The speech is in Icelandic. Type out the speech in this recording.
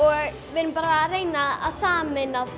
við erum að reyna að sameina